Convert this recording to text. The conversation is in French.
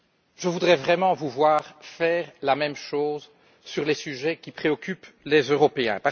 Je voudrais vraiment vous voir faire la même chose sur les sujets qui préoccupent les Européens.